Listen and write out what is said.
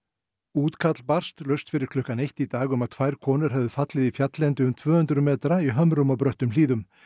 útkall barst laust fyrir klukkan eitt í dag um að tvær konur hefðu fallið í fjalllendi um tvö hundruð metra í hömrum og bröttum hlíðum